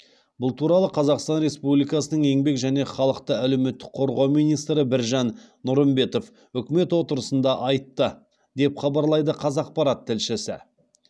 бұл туралы қазақстан республикасының еңбек және халықты әлеуметтік қорғау министрі біржан нұрымбетов үкімет отырысында айтты деп хабарлайды қазақпарат тілшісі